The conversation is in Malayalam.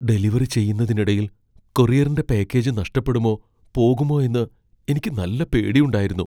ഡെലിവറി ചെയ്യുന്നതിനിടയിൽ കൊറിയറിന്റെ പാക്കേജ് നഷ്ടപ്പെടുമോ പോകുമോ എന്ന് എനിക്ക് നല്ല പേടിയുണ്ടായിരുന്നു.